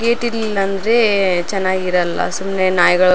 gate ಇರ್ಲಿಲ್ಲ ಅಂದ್ರೆ ಚೆನ್ನಾಗಿರಲ್ಲ ಸುಮ್ನೆ ನಾಯ್ಗಳು --